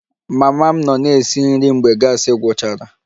Mama m nọ na-esi nri mgbe gasi gwụchara